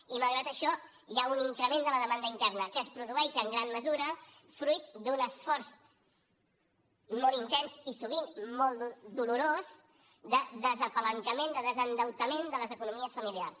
i malgrat això hi ha un increment de la demanda interna que es produeix en gran mesura fruit d’un esforç molt intens i sovint molt dolorós de despalanquejament de desendeutament de les economies familiars